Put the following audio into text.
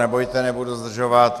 Nebojte, nebudu zdržovat.